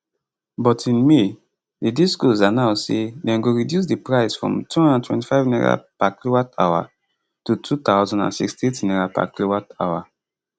but in may di discos announce say dem go reduce the price from n225kwh to n2068kwh